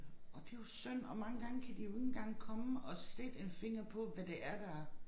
Og det jo synd og mange gange kan de jo ikke engang komme og sætte en finger på hvad det er der